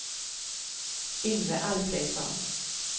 Yngve Alfredsson